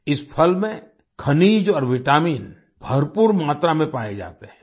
इस फल में खनिज और विटामिन भरपूर मात्रा में पाये जाते हैं